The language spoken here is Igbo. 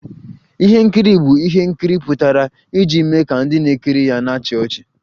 Ihe nkiri bụ ihe nkiri pụtara iji mee ka ndị na-ekiri ya na-achị ọchị